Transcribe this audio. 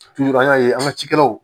an y'a ye an ka cikɛlaw